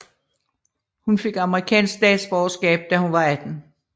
Hun fik amerikansk statsborgerskab da hun var 18